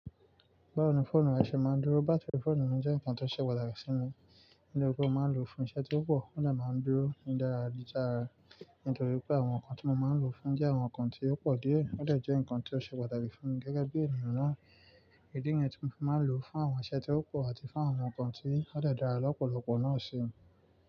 Báwo ni fóònù rẹ̀ ṣe máa ń dúró? Bátírì fóònù mi jẹ́ nǹkan tó ṣe pàtàkì sí mi, nítorí pé mo máa ń lò ó fún iṣẹ́ tí ó pọ̀, ó dẹ̀ máa ń dúró ní dáradára. Nítorí pé àwọn nǹkan tí mo máa ń lò ó ń jẹ́ àwọn nǹkan tí ó pọ̀ díẹ̀, ó dẹ̀ jẹ́ nǹkan tí ó ṣe pàtàkì fún mi gẹ́gẹ́ bí ènìyàn náà. Ìdí nìyẹn tí mo fi máa ń lòó fún àwọn iṣẹ́ tí ó pọ̀ àti fún àwọn nǹkan tí ó dẹ̀ dára lọ́pọ̀lọpọ̀ náà síi.